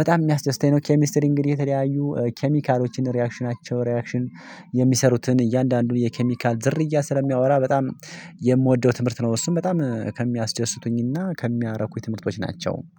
በጣም የሚያስደስተኝ ነው። ኬሚስትሪ እንግዲህ የተለያዩ ኬሚካሎችን ሪአክሽናቸው ሪአክሽን የሚሰሩትን እያንዳንዱን የኬሚካል ዝርያ ስለሚያወራ በጣም የምወደው ትምህርት ነው። እሱም በጣም ከሚያስደስቱኝና ከሚያረኩኝ ትምህርቶች ናቸው